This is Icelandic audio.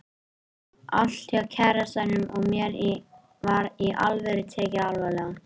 Allt hjá kærastanum og mér var Í ALVÖRU og tekið alvarlega.